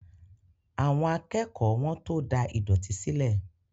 Àwọn akẹ́kọ̀ọ́ wọ́n tó da ìdọ̀tí sílẹ̀